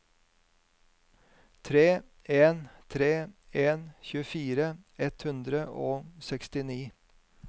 tre en tre en tjuefire ett hundre og sekstini